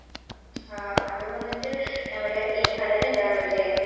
ആഹ് അത് വന്നിട്ട് നമ്മുടെ ഈ കടലിണ്ടാകുലേ